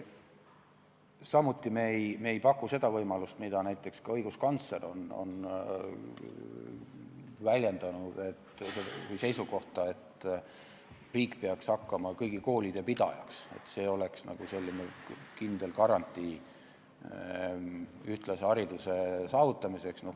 Samuti ei paku me seda võimalust , et riik peaks hakkama kõigi koolide pidajaks, et see oleks nagu kindel garantii ühtlase hariduse saavutamiseks.